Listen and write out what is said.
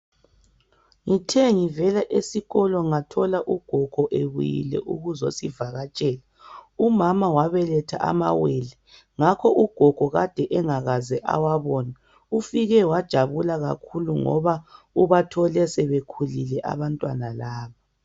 Ngithe ngivela esikolo ngathola ugogo ebuyile ukuzosivakatshela. Umama wabaletha amawele. Ngakho ugogo kade engakaze awabone. Ufike wajabula kakhulu ngabo ubathole sebekhulile abantwana laba.